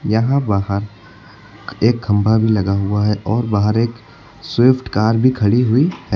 यहां बाहर एक खंबा भी लगा हुआ हैं और बाहर एक स्विफ्ट कार भी खड़ी हुई हैं।